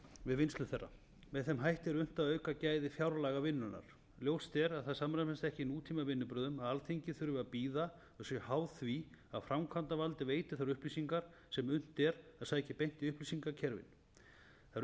við vinnslu þeirra með þeim hætti er unnt að auka gæði fjárlagavinnunnar ljóst er að það samræmist ekki nútímavinnubrögðum að alþingi þurfi að bíða og sé háð því að framkvæmdarvaldið veiti þær upplýsingar sem unnt er að sækja beint í upplýsingakerfin þær